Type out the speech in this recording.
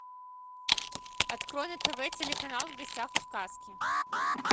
открой на тв телеканал в гостях у сказки